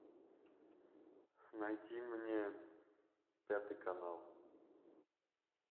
найди мне пятый канал